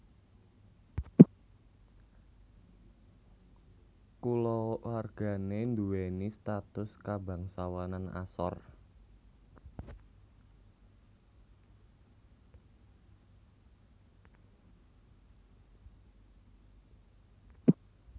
Kulawargané nduwèni status kabangsawanan asor